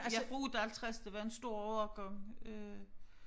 Jeg fra 58 det var en stor årgang øh